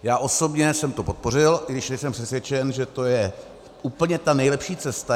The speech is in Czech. Já osobně jsem to podpořil, i když nejsem přesvědčen, že to je úplně ta nejlepší cesta.